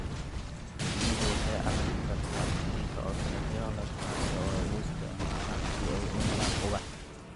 Shinnidu waxay arki kartaa iftiinka ultraviolet, kaas oo ay u isticmaalaan si ay u helaan ubax.